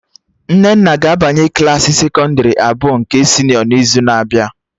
Nnenna ga-abanye Klassị sekọndrị abụọ nke senịọ n'izu na-abịa